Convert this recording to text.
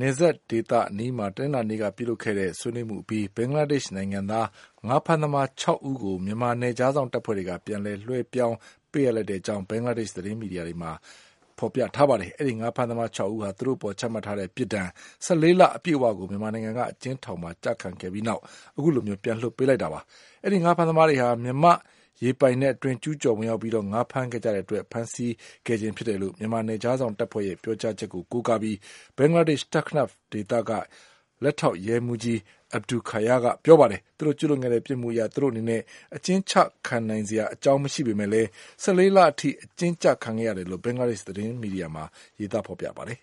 နယ်စပ်ဒေသအနီးမှာ တနင်္လာနေ့က ပြုလုပ်တဲ့ခဲ့တဲ့ ဆွေးနွေးမှုအပြီး ဘင်္ဂလားဒေ့ရှ်နိုင်ငံသား ငါးဖမ်းသမား ၆ ဦးကို မြန်မာနယ်ခြားစောင့် တပ်ဖွဲ့တွေက ပြန်လည် လွဲပြောင်းပေးအပ်လိုက်ကြောင်း ဘင်္ဂလားဒေ့ရှ် သတင်းမီဒီယာတွေမှာ ရေးသား ဖော်ပြထားပါတယ်။ အဲဒီ ငါးဖမ်းသမား ၆ ဦးဟာ သူတို့အပေါ် ချမှတ်ထားတဲ့ ပြစ်ဒဏ် ၁၄ လ အပြည့်အဝကို မြန်မာနိုင်ငံက အကျဉ်းထောင်မှာ ကျခံပြီးတဲ့နောက်မှာ အခုလို ပြန်လွှတ်ပေးလိုက်တာလည်း ဖြစ်ပါတယ်။ အဲဒီ ငါးဖမ်းသမားတွေဟာ မြန်မာ့ရေပိုင်နက်အတွင်း ကျူးကျော် ဝင်ရောက်ပြီး ငါးဖမ်းခဲ့ကြတဲ့အတွက် ဖမ်းဆီးခဲ့ခြင်း ဖြစ်တယ်လို့ မြန်မာ နယ်ခြားစောင့်တပ်ဖွဲ့ရဲ့ပြောကြားချက်ကို ကိုးကားပြီး ဘင်္ဂလားဒေ့ရှ် Teknaf ဒေသက လက်ထောက်ရဲမှူးကြီး Abul Khayer က ပြောပါတယ်။ သူတို့ကျူးလွန်ခဲ့တဲ့ ပြစ်မှုအရ သူတို့အနေနဲ့ အကျဉ်းချခံရနိုင်စရာ အကြောင်းမရှိပေမယ့်လည်း ၁၄ လအထိ အကျဉ်းကျခံခဲ့ရတယ်လို့ ဘင်္ဂလားဒေ့ရှ် သတင်းမီဒီယာမှာ ရေးသား ဖော်ပြထားပါတယ်။